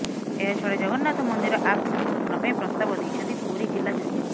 ଏହାଛଡ଼ା ଜଗନ୍ନାଥ ମନ୍ଦିର ଆକ୍ଟ ସଂଶୋଧନ ପାଇଁ ପ୍ରସ୍ତାବ ଦେଇଛନ୍ତି ପୁରୀ ଜିଲ୍ଲା ଜଜ୍